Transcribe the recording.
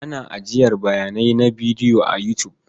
Ana ajiyar bayanai na bidiyo a You tube.